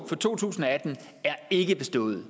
for to tusind og atten er ikke bestået